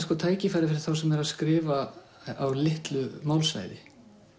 tækifæri fyrir þá sem eru að skrifa á litlu málsvæði